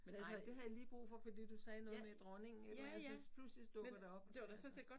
Men altså det havde jeg lige brug for fordi du sagde noget med dronningen men altså pludselig dukker det op altså